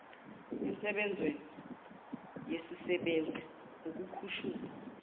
ensebenzweni yesisebenzi ukukhushulwa